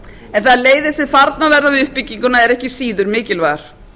en þær leiðir sem farnar verða við uppbygginguna eru ekki síður mikilvægar